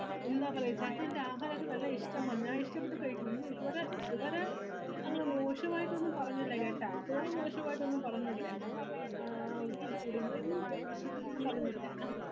ന്താ പറയാ ചേട്ടന് എന്റെ ആഹാരോക്കെ നല്ല ഇഷ്ട്ടമാണ് ഞാൻ ഇഷ്ട്ടപെട്ട് കഴിക്കുന്നു ഒന്നും ഇതുവരെ ഇതുവരെ അങ്ങനെ മോഷ്‌ടാവായിട്ടൊന്നും പറഞ്ഞില്ല കേട്ട ഇതുവരെ മോശവയിട്ടൊന്നും പറഞ്ഞില്ല ആ ഒന്നും പറഞ്ഞില്ല